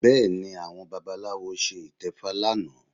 Bẹ́ẹ̀ni, àwọn babaláwo ṣe ìtẹfa lánàá